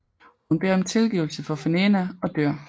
Hun beder om tilgivelse for Fenena og dør